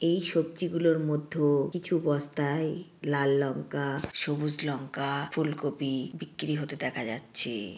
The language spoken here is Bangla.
এই সবজিগুলোর মধ্য কিছু বস্তায় লাল লঙ্কা সবুজ লঙ্কা ফুলকপি বিক্রি হতে দেখা যাচ্ছে।